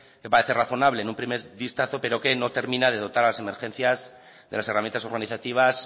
que parece razonable en un primer vistazo pero que no termina de dotar a las emergencias de las herramientas organizativas